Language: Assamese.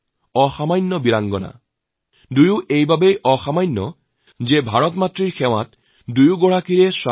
অসাধাৰণ এই বাবেই যে স্বাতি আৰ নিধিৰ স্বামী ভাৰত ভূমিৰ সেৱা কৰি কৰি শ্বহীদ হল